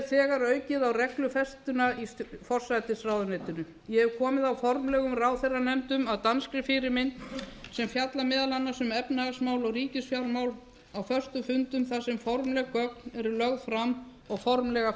þegar aukið á reglufestuna í forsætisráðuneytinu ég hef komið á formlegum ráðherranefndum að danskri fyrirmynd sem fjalla meðal annars um efnahagsmál og ríkisfjármál á föstum fundum þar sem formleg gögn eru lögð fram og formlegar